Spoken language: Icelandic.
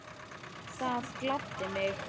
Það gladdi mig.